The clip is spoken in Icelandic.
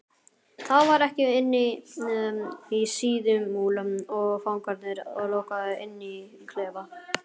Þá var ekið inní Síðumúla og fangarnir lokaðir inní klefa.